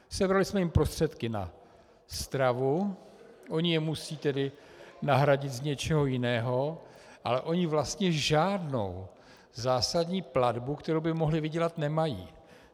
Sebrali jsme jim prostředky na stravu, oni je musí tedy nahradit z něčeho jiného, ale oni vlastně žádnou zásadní platbu, kterou by mohli vydělat, nemají.